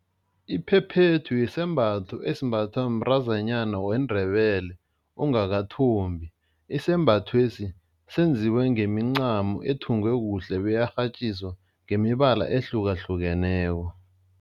Iphephethu yisembatho esembathwa mntazanyana weNdebele ongakathombi, isembathwesi senziwe ngemincamo ethungwe kuhle beyarhatjiswa ngemibala ehlukahlukeneko.